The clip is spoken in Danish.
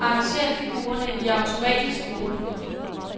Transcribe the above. Arrangér figurerne i automatisk gruppe.